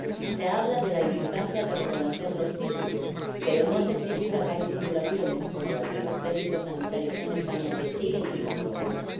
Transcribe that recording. Se habla de la importancia de reconocer los títulos, pero no se critica que hay titulaciones, como las de los técnicos sanitarios en España, que siguen sin homologarse.